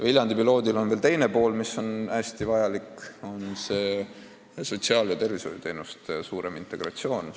Viljandi piloodil on veel teine pool, mis on hästi vajalik, see on sotsiaal- ja tervishoiuteenuste suurem integratsioon.